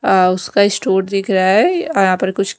अ उसका इस्टोर दिख रहा है। यहां पर कुछ--